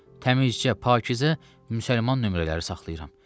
Təmizcə, pakizə Müsəlman nömrələri saxlayıram.